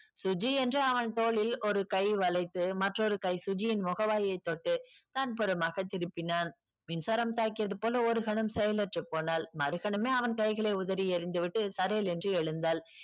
சுஜி என்று அவள் தோளில் ஒரு கை வைத்து மற்றொரு கை சுஜியின் முக வாயை தொட்டு தான் புறமாக திருப்பினான் மின்சாரம் பாயிசியதை போல ஒருகணம் செயலற்று போனால் மறுகணமே அவன் கைகளை உதறி எழுந்துவிட்டு சடேல் என்று எழுந்தால்